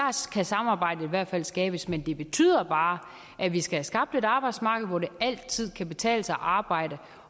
kan samarbejdet i hvert fald skabes men det betyder bare at vi skal have skabt et arbejdsmarked hvor det altid kan betale sig at arbejde